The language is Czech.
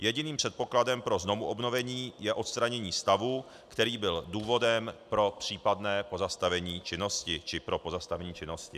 Jediným předpokladem pro znovuobnovení je odstranění stavu, který byl důvodem pro případné pozastavení činnosti či pro pozastavení činnosti.